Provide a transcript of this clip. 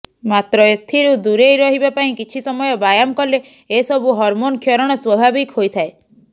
ମାତ୍ର ଏଥିରୁ ଦୂରେଇ ରହିବା ପାଇଁ କିଛି ସମୟ ବ୍ୟାୟାମ କଲେ ଏସବୁ ହରମୋନ୍ କ୍ଷରଣ ସ୍ବାଭାବିକ ହୋଇଥାଏ